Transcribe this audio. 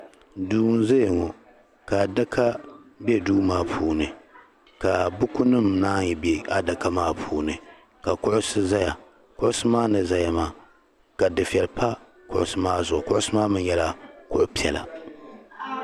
Duu n zaya ŋɔ ka adaka bɛ duu maa puuni ka buku nima nanyi bɛ adaka maa puuni ka kuɣusi zaya kuɣisi maa ni zaya maa ka dufɛli pa kuɣusi maa zuɣu kuɣusi maa mi yɛla kuɣu piɛlla.